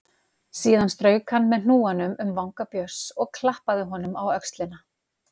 Síðan strauk hann með hnúanum um vanga Björns og klappaði honum á öxlina.